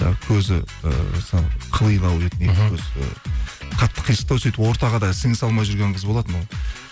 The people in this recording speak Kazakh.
і көзі ііі қылилау еді мхм екі көзі қатты қисықтау сөйтіп ортаға да сіңісе алмай жүрген қыз болатын ол